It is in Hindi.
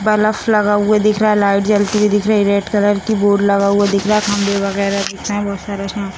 बल्ब लगा हुआ दिख रहा है। लाइट जलती हुए दिख रही है। रेड कलर की बोर्ड लगा हुआ दिख रहा है। खम्बे वगेरा दिख रहे हैं बहोत सारे उसमें --